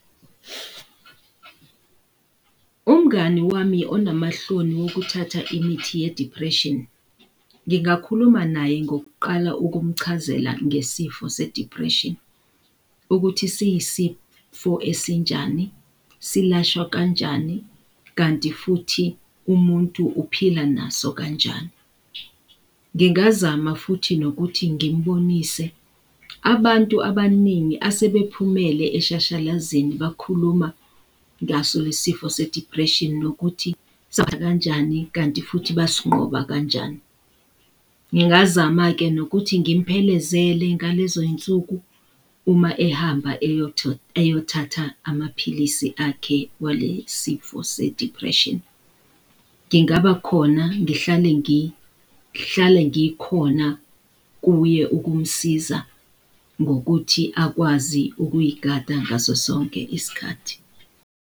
Umngani wami onamahloni wokuthatha imithi ye-dpression, ngingakhuluma naye ngokuqala ukumchazela ngesifo se-depression, ukuthi siyisifo esinjani, silashwa kanjani, kanti futhi umuntu uphila naso kanjani? Ngingazama futhi nokuthi ngimubonise abantu abaningi asebephumele eshashalazeni bakhuluma ngaso lesifo se-depression nokuthi kanjani kanti futhi bassinqoba kanjani. Ngingazama-ke nokuthi ngimphelezele ngalezo iy'nsuku uma ehamba eyothatha amaphilisi akhe walesifo se-depression. Ngingabakhona ngihlale ngikhona kuye ukumsiza ngokuthi akwazi ukuyigada ngaso sonke isikhathi.